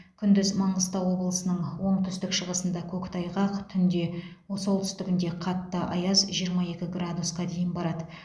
күндіз маңғыстау облысының оңтүстік шығысында көктайғақ түнде солтүстігінде қатты аяз жиырма екі градусқа дейін барады